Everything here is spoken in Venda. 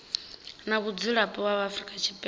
na mudzulapo wa afrika tshipembe